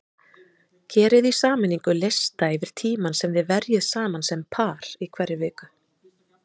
Gerið í sameiningu lista yfir tímann sem þið verjið saman sem par í hverri viku.